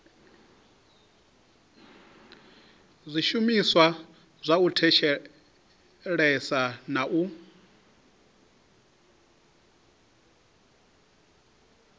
zwishumiswa zwa u thetshelesa na